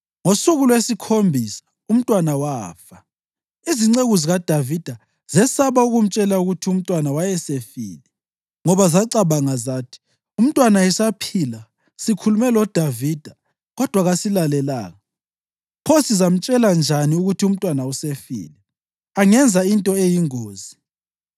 Ngosuku lwesikhombisa umntwana wafa. Izinceku zikaDavida zesaba ukumtshela ukuthi umntwana wayesefile ngoba zacabanga zathi, “Umntwana esaphila, sikhulume loDavida kodwa kasilalelanga. Pho singamtshela njani ukuthi umntwana usefile? Angenza into eyingozi.”